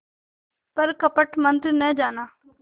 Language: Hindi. पर कपट मन्त्र न जाना